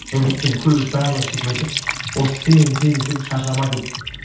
өйткені көбісі барлығы сөйтіп айтады осы сен сен десе шаршама деп